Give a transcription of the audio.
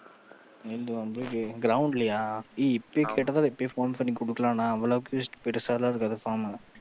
வந்து ground லயா ஏய் இப்பயே கேட்டா தான் அதை இப்பயே போன் பண்ணி கொடுக்கலாம் அவ்வளக்கு பெருசாலாம் இருக்காது form